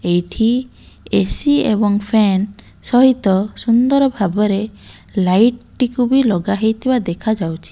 ଏଇଠି ଏ_ସି ଏବଂ ଫ୍ୟାନ ସହିତ ସୁନ୍ଦର ଭାବରେ ଲାଇଟ୍ ଟିକୁ ବି ଲଗା ହେଇଥିବା ଦେଖା ଯାଉଛି।